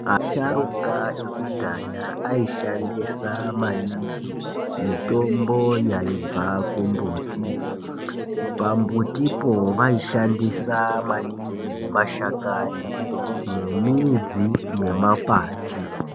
Asharuka ekudhaya aishandisa maningi mitombo yaibva kumbuti pa mbuti po vaishandisa maningi mashakani ne midzi ne makwati.